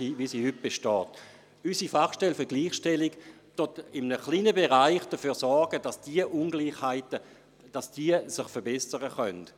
Unsere Fachstelle für die Gleichstellung von Frauen und Männern sorgt in einem kleinen Bereich dafür, dass diese Ungleichheiten vermindert werden.